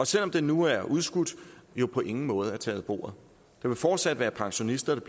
selv om den nu er udskudt jo på ingen måde er taget af bordet der vil fortsat være pensionister der